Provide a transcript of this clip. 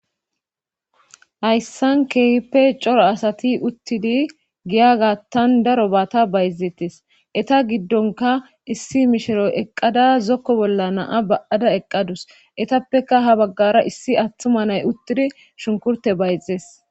hayssan keehippe coro asati uttidi giya gaattan daro baata bayzeettes eta giddonka issi mishiro eqqada zokko bolla naa ba7ada eqqadus etappeka ha baggara issi attuma nay uttidi shunkurte bayzees